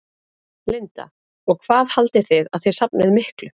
Linda: Og hvað haldið þið að þið safnið miklu?